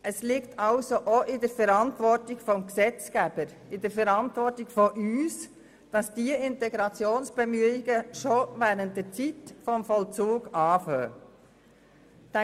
Es liegt also auch in der Verantwortung des Gesetzgebers, in unserer Verantwortung, dass diese Integrationsbemühungen bereits während der Zeit des Vollzugs beginnen.